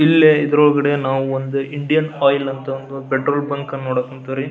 ಇಲ್ಲಿ ಇದರೊಳಗಡೆ ನಾವು ಒಂದು ಇಂಡಿಯನ್ ಆಯಿಲ್ ಅಂತ ಒಂದ್ ಪೆಟ್ರೋಲ್ ಬಂಕನ್ನ ನೋಡಕ್ ಹೋನ್ತಿವ್ರಿ.